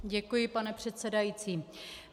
Děkuji, pane předsedající.